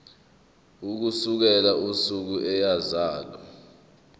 ukusukela usuku eyazalwa